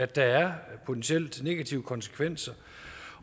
der er potentielt negative konsekvenser